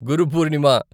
Guru Purnima